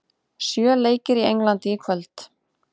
Sjö leikir í Englandi í kvöld